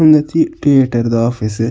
ಉಂದ್ cheap ಟಿಯೇಟರ್ದ office .